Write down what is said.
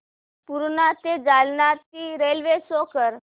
पूर्णा ते जालना ची railway show कर